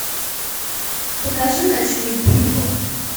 покажи ночной буйвол